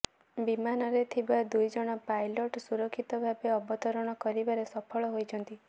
ବିମାନରେ ଥିବା ଦୁଇଜଣ ପାଇଲଟ ସୁରକ୍ଷିତ ଭାବେ ଅବତରଣ କରିବାରେ ସଫଳ ହୋଇଛନ୍ତି